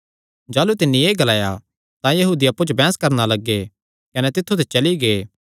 जाह़लू तिन्नी एह़ ग्लाया तां यहूदी अप्पु च बड़ी बैंह्स करणा लग्गे कने तित्थु ते चली गै